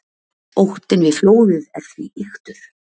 Óttinn við flóðið er því ýktur.